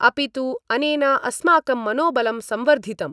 अपि तु अनेन अस्माकं मनोबलं संवर्धितम्।